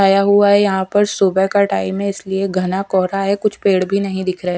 आया हुआ है यहां पर सुबह का टाइम है इसलिए घना कोहरा है कुछ पेड़ भी नहीं दिख रहे हैं ।